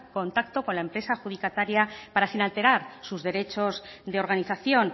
contacto con la empresa adjudicataria para sin alterar sus derechos de organización